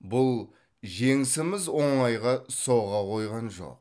бұл жеңісіміз оңайға соға қойған жоқ